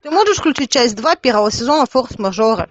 ты можешь включить часть два первого сезона форс мажоры